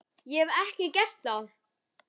Hef ég ekki gert það?